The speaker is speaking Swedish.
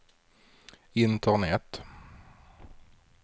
internet